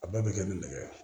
A bɛɛ bɛ kɛ ni nɛgɛ